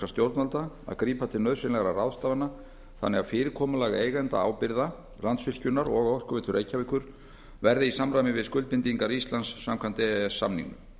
stjórnvalda að grípa til nauðsynlegra ráðstafana þannig að fyrirkomulag eigendaábyrgða landsvirkjunar og orkuveitu reykjavíkur verði í samræmi við skuldbindingar íslands samkvæmt e e s samningnum